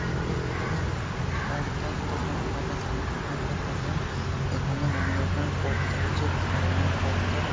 এটা একটা পর্দার দোকান বা জামাকাপড়ের একটা দোকান | এখানে অনেক রকমের পর্দা রয়েছে কালারিং পর্দা ।